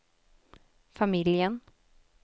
familjen